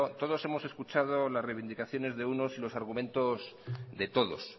todos hemos escuchado la reivindicaciones de unos y los argumentos de todos